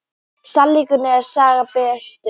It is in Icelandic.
Sannleikurinn er sagna bestur.